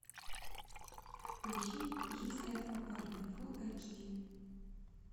поищи жизнь этого парня фул айч ди